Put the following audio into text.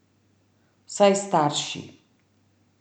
Vsaj starši.